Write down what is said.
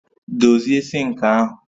Dozie sinki ahu